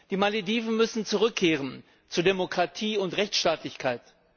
Die Malediven müssen zurückkehren zu Demokratie und Rechtsstaatlichkeit.